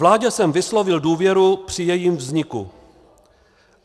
Vládě jsem vyslovil důvěru při jejím vzniku.